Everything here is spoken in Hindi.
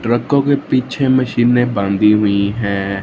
ट्रैकों के पीछे मशीने बांधी हुई है।